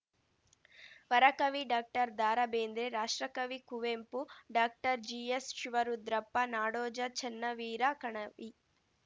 ವರಕವಿ doctor Dara Bendre ರಾಷ್ಟ್ರಕವಿ Kuvempu doctor GS Shivarudrappa ನಾಡೋಜ ಚನ್ನವೀರ ಕಣವಿ